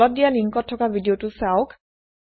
তলত দিয়া লিঙ্কত থকা ভিদিঅ চাওক